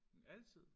Altid?